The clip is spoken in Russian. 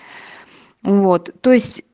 вот то есть